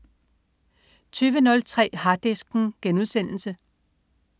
20.03 Harddisken*